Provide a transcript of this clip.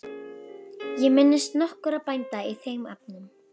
Ég minnist nokkurra bænda í þeim efnum.